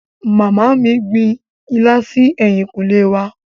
Màmá mí gbin ilá si ẹ̀yìnkùlé wa.